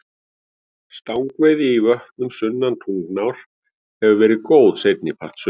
Stangveiði í vötnum sunnan Tungnár hefur verið góð seinni part sumars.